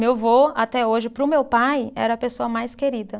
Meu vô, até hoje, para o meu pai, era a pessoa mais querida.